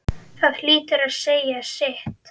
Það hlýtur að segja sitt.